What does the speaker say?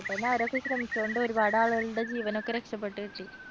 അതുകൊണ്ട് അവരൊക്കെ ശ്രമിച്ചുകൊണ്ട് ഒരുപാട് ആളുകളുടെ ജീവനൊക്കെ രക്ഷപെട്ടു കിട്ടി